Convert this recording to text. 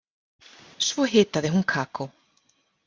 Svo hitaði hún kakó.